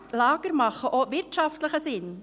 Lager sind auch wirtschaftlich sinnvoll.